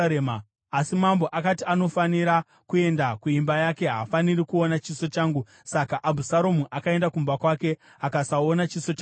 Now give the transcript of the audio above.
Asi mambo akati, “Anofanira kuenda kuimba yake; haafaniri kuona chiso changu.” Saka Abhusaromu akaenda kumba kwake akasaona chiso chamambo.